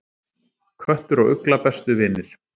Köttur og ugla bestu vinir